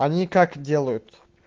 они как делают